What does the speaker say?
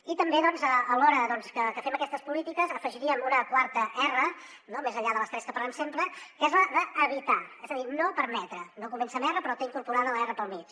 i també alhora que fem aquestes polítiques afegiríem una quarta r no més enllà de les tres que parlem sempre que és la d’evitar és a dir no permetre no comença amb r però té incorporada la r pel mig